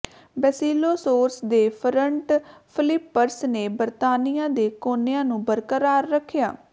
Basilosaurus ਦੇ front flippers ਨੇ ਬਰਤਾਨੀਆ ਦੇ ਕੋਨਿਆਂ ਨੂੰ ਬਰਕਰਾਰ ਰੱਖਿਆ